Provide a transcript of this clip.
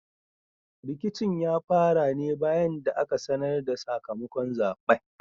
Rikicin ya fara ne bayan da aka sanar da sakamakon zaɓen.